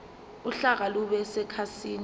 uhlaka lube sekhasini